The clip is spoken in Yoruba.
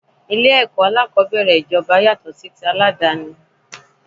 Ilé ẹ̀kọ́ alákòbẹ̀rẹ̀ ijoba yàtọ̀ sí ti aládàni.